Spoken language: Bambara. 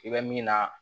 I bɛ min na